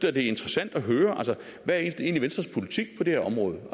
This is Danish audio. er interessant at høre hvad er egentlig venstres politik på det her område